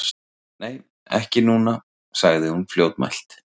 Nei, ekki núna, sagði hún fljótmælt.